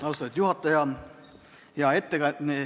Ausatud juhataja!